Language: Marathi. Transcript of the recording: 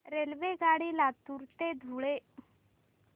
रेल्वेगाडी लातूर ते धुळे